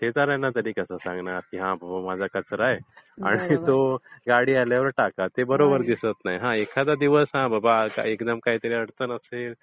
शेजार् यांना तरी कसं सांगणार की हा माझा कचरा आहे आणि तो गाडी आल्यावर टाका. ते बरोबर दिसत नाही. हा एखादा दिवस बाबा काहीतरी अडचण असेल